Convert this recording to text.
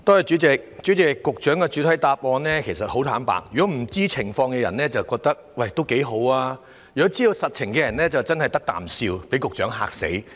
主席，就局長的主體答覆，坦白說，不知道情況的人會覺得這樣也不錯，但知道實情的人真是"得啖笑"，被局長嚇死。